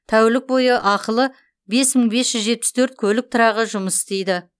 тәулік бойы ақылы бес мың бес жүз жетпіс төрт көлік тұрағы жұмыс істейді